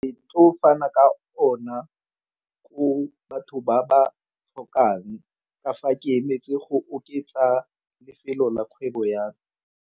fana ka o na go batho ba ba tlhokang ke fa ke emetse go oketsa lefelo la kgwebo ya me.